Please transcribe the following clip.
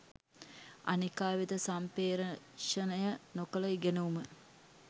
අනෙකා වෙත සම්පේ්‍රෂණය නොකළ ඉගෙනුම